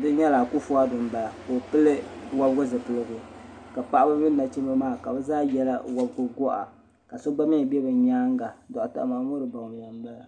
di nyɛla akufu ado m bala ka o pili wobgu zipiligu ka paɣaba mini nachimba maa ka bɛ zaa ye bɛ goɣa ka so gba mee be bɛ nyaanga doɣata mamuru bawumya m bala.